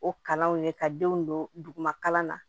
O kalanw ye ka denw don duguma kalan na